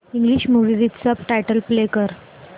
English movie with subtitles play कर